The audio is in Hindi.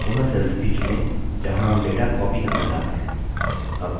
और वह cells भी चुनें जहाँ हम data copy करना चाहते हैं